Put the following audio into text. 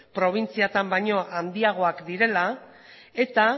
probintziatan baino handiagoak direla eta